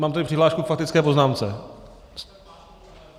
Mám tady přihlášku k faktické poznámce.